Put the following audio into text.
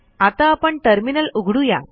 आता आपण टर्मिनल उघडू या